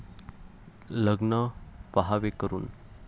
लग्न पहावे करून!